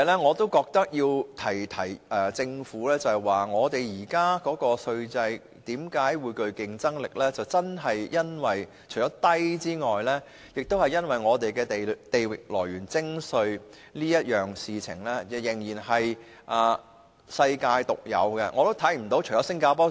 我要提醒政府的另一點是，本港現時的稅制之所以具競爭力，除了因為稅率低外，更因為本港的地域來源徵稅原則仍是世界獨有。